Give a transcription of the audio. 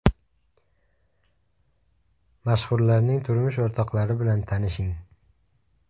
Mashhurlarning turmush o‘rtoqlari bilan tanishing .